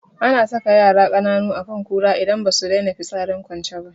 Ana saka yara kananu akan kura idan basu daina fitsarin kwance ba